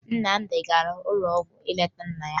Nnamdi gara n'ụlọ ọgwụ ịga leta nna ya